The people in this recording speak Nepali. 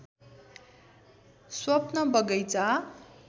स्वप्न बगैंचा